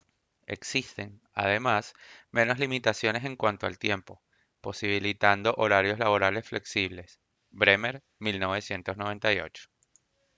existen además menos limitaciones en cuanto al tiempo posibilitando horarios laborales flexibles. bremer 1998